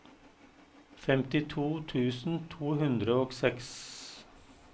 femtito tusen to hundre og seks